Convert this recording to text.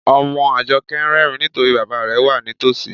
Ọmọ Ajọkẹ̀ n rẹrìǹ nítorí bàbá rẹ̀ wà nítósí.